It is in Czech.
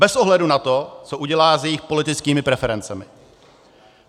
Bez ohledu na to, co udělá s jejich politickými preferencemi.